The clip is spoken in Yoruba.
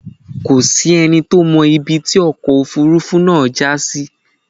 Kò sí ẹni tí ó mọ ibi tí ọkọ̀ Òfurufú náà já sí.